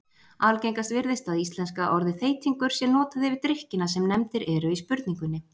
Algengast virðist að íslenska orðið þeytingur sé notað yfir drykkina sem nefndir eru í spurningunni.